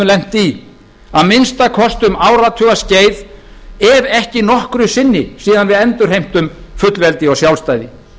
lent í að minnsta kosti um áratugaskeið ef ekki nokkru sinni síðan við endurheimtum fullveldi og sjálfstæði